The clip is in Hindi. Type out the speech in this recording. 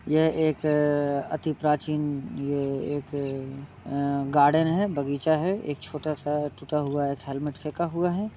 यह एक अ अति प्राचीन ये एक अ गार्डन है बगीचा है। एक छोटा सा टूटा हुआ एक हेलमेट फेका हुआ है।